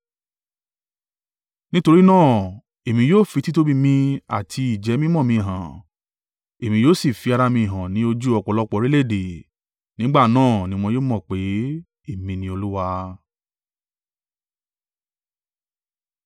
Nítorí náà, Èmi yóò fi títóbi mi àti ìjẹ́-mímọ́ mi hàn, Èmi yóò sì fi ara mi hàn ní ojú ọ̀pọ̀lọpọ̀ orílẹ̀-èdè. Nígbà náà ni wọn yóò mọ̀ pé, Èmi ni Olúwa.’